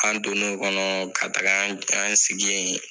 An don n'o kɔnɔ ka taga an, an sigi yen.